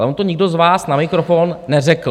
Ale on to nikdo z vás na mikrofon neřekl.